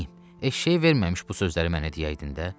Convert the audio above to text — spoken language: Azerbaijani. Eşşəyi verməmiş bu sözləri mənə deyəydin də.